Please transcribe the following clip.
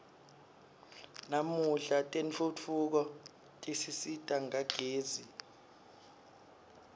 namuhla tentfutfuko tisisita ngagezi